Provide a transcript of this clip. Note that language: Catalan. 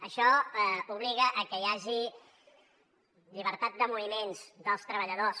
això obliga a que hi hagi llibertat de moviments dels treballadors